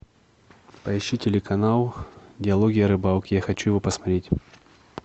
поищи телеканал диалоги о рыбалке я хочу его посмотреть